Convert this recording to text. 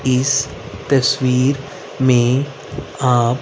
इस तस्वीर में आप--